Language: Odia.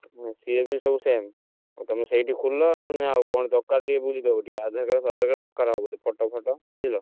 ସିଏ ବି ସବୁ same ଆଉ ତମେ ସେଇଠି ଖୋଲ ଆଉ କଣ ଦରକାର ଟିକେ ବୁଝିଦବା ନହେଲେ ଆଧାର card ଫାଦାର card ଦରକାର ହବ photo photo ବୁଝିଲ,